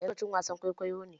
Yanzu lokacin wasan kwaikwayo ne